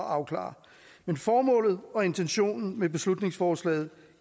afklaret men formålet og intentionen med beslutningsforslaget